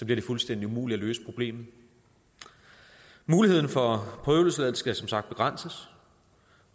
det fuldstændig umuligt at løse problemet muligheden for prøveløsladelse skal som sagt begrænses